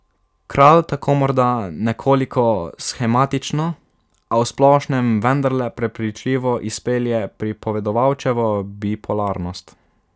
Kralj tako morda nekoliko shematično, a v splošnem vendarle prepričljivo izpelje pripovedovalčevo bipolarnost.